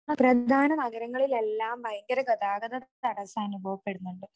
പ്രധാന നഗരങ്ങളിലെല്ലാം ഭയങ്കര ഗതാഗതതടസ്സം അനുഭവപ്പെടുന്നുണ്ട്.